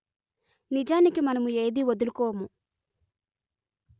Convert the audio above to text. నిజానికి మనము ఏదీ వదులుకోము